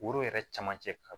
Foro yɛrɛ camancɛ ka